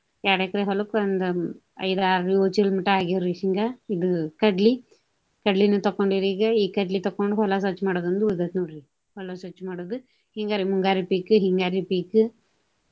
ಎರಡು ಎಕ್ರೆ ಹೊಲಕ್ಕ ಒಂದು ಐದು, ಆರು, ಯೊಳ ಚೀಲದ ಮಟಾ ಆಗ್ಯಾವ್ರಿ ಶೇಂಗಾ. ಇದು ಕಡ್ಲಿ. ಕಡ್ಲಿನು ತಕ್ಕೊಂಡೆವ್ರಿ ಈಗ. ಈಗ ಕಡ್ಲಿ ತಕ್ಕೊಂಡ ಹೊಲ ಸ್ವಚ್ಛ ಮಾಡೋದ ಒಂದು ಉಳದೈತ್ರಿ ನೋಡ್ರಿ. ಹೊಲ ಸ್ವಚ್ಛ ಮಾಡೋದು. ಹಿಂಗಾರಿ ಮುಂಗಾರಿ ಪೀಕ, ಹಿಂಗಾರಿ ಪೀಕ.